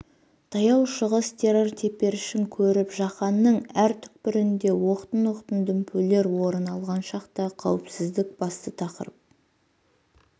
таяу шығыс террор теперішін көріп жаһанның әр түкпірінде оқтын-оқтын дүмпулер орын алған шақта қауіпсіздік басты тақырып